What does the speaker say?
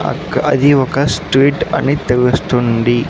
అక్ అది ఒక స్ట్రీట్ అని తెలుస్తుంది.